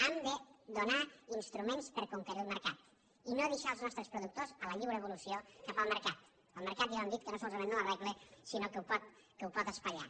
hem de donar instruments per conquerir el mercat i no deixar els nostres productors a la lliure evolució cap al mercat el mercat ja ho hem dit que no solament no ho arregla sinó que ho pot espatllar